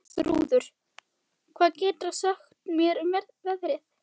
Bjarnþrúður, hvað geturðu sagt mér um veðrið?